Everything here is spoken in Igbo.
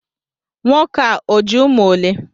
Nwoke a o ji umu ole?